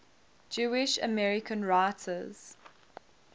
jewish american writers